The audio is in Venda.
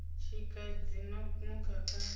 tshika dzi no nukha kha